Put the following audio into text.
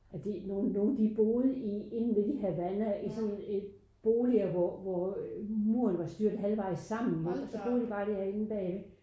At de nogen nogen de boede i inde midt i Havana i sådan i boliger hvor muren var styrtet halvvejs sammen så boede de inde bagved